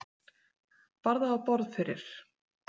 Bar það á borð fyrir